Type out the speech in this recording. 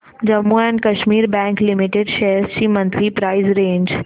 Jammu and Kashmir bank limited shares ची monthly price range